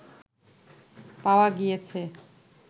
পাওয়া গিয়েছে